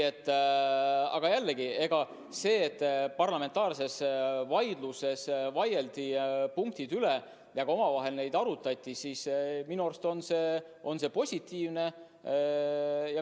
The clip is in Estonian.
Aga jällegi, see, et parlamentaarses vaidluses nende punktide üle vaieldi ja omavahel neid arutati – minu arust on see positiivne.